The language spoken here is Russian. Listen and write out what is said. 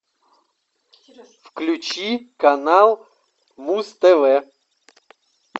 включи канал муз тв